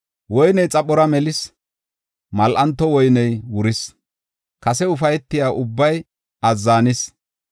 Woyney xaphora melis, mal7anto woyney wuris; kase ufaytiya ubbay azzanis.